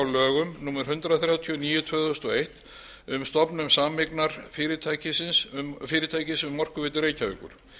lögum númer hundrað þrjátíu og níu tvö þúsund og eitt um stofnun sameignarfyrirtækis um orkuveitu reykjavíkur